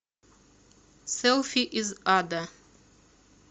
селфи из ада